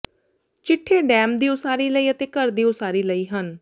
ਚਿੱਠੇ dam ਦੀ ਉਸਾਰੀ ਲਈ ਅਤੇ ਘਰ ਦੀ ਉਸਾਰੀ ਲਈ ਹਨ